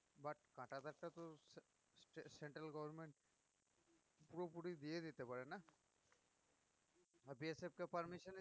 central government পুরোপুরি দিয়ে দিতে পারে না আর BSF কেও permission